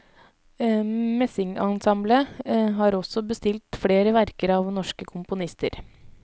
Messingensemblet har også bestilt flere verker av norske komponister.